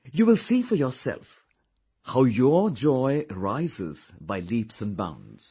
you will see for yourself how your joy rises by leaps and bounds